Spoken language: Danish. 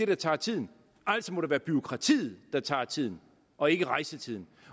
der tager tiden altså må det være bureaukratiet der tager tiden og ikke rejsetiden